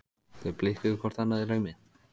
Þau blikkuðu hvort annað í laumi.